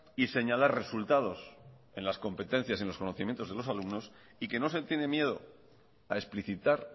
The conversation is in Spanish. y señalar resultados en las competencias y en los conocimientos de los alumnos y que no se tiene miedo a explicitar